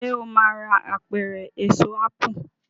ṣe o má rà Apẹ̀rẹ̀ Èso ápù